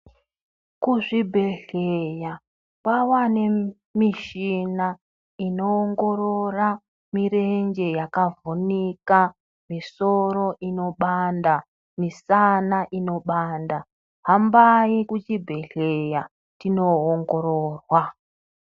Kuzvibhehleya kwava nemishina inowongorora mirenje yakavhunika, misoro inobanda nemisana inobanda. Hambai kucbibhehlera tino wongororwa.